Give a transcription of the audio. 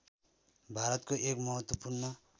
भारतको एक महत्त्वपूर्ण